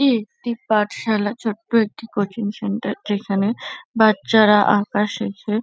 একটি পাঠশালা। ছোট্ট একটি কোচিং সেন্টার যেখানে বাচ্চারা আঁকা শেখে।